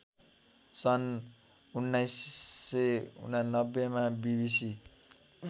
सन् १९९९ मा बिबिसी